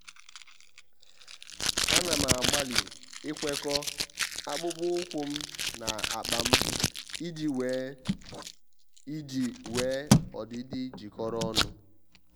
à nà m àgbàlị́ ikwekọ́ akpụkpọ́ụkwụ́ m na ákpá m iji nwee m iji nwee ọdịdị jikọrọ ọnụ.